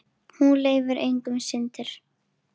Hún leyfir engar syndir.